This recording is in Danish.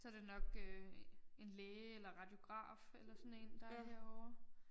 Så det nok øh en læge eller radiograf eller sådan én der er herovre